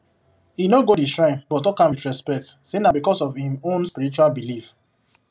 he no go the shrine but talk am with respect say na because of him own spiritual belief